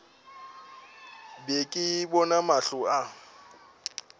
be ke bona mahlo a